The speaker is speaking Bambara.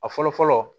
A fɔlɔ fɔlɔ